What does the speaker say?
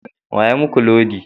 Wa ya muku lodi?